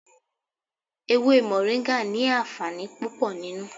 Ewé moringa ni àǹfààní púpò nínú.